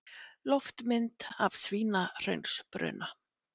Loftmynd af Svínahraunsbruna.